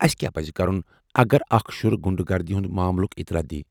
اسہِ کیٚا پزِ کرُن اگر اكھ شُر غُنڈٕ گردی ہنٛد ماملُك اطلاع دِیہِ۔